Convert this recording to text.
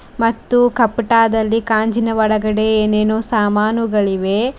ಮತ್ತು ಕಪಟದಲ್ಲಿ ಗಾಜಿನಒಳಗಡೆ ಏನೇನೋ ಸಾಮಾನುಗಳಿವೆ.